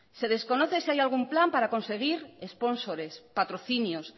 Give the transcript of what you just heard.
se desconoce si hay algún plan para conseguir espónsores patrocinios